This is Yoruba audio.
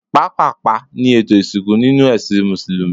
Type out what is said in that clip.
Pápàpá ni ètò ìsìnkú ninu ẹ́sìn músùlùmí